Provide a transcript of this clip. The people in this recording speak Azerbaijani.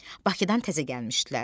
Bakıdan təzə gəlmişdilər.